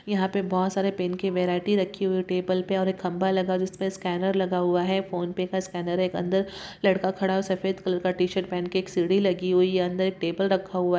यहा पे बहोत सारे पेन की वेराइटी रखी हुई है टेबुल पे और एक खंभा लगा हुआ है जिसपे स्केनर लगा हुआ है फोन पे का स्कैनर है अंदर लड़का खड़ा है सफेद कलर का टीशर्ट पहेनके एक सांडी लगी हुई है अंदर टेबल रका हुहा है।